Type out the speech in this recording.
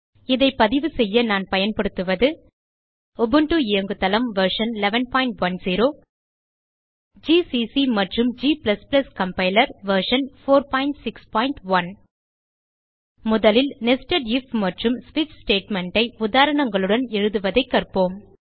இதை பதிவுசெய்ய நான் பயன்படுத்துவது உபுண்டு இயங்குதளம் வெர்ஷன் 1110 ஜிசிசி மற்றும் g கம்பைலர் வெர்ஷன் 461 முதலில் நெஸ்டட் ஐஎஃப் மற்றும் ஸ்விட்ச் statementஐ உதாரணங்களுடன் எழுதுவதைக் கற்போம்